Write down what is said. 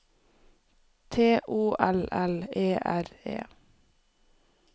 T O L L E R E